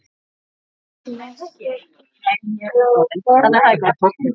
Flosi hjó höfuðið af Helga.